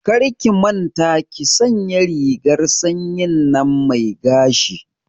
Karki manta ki sanya rigar sanyin nan mai gashi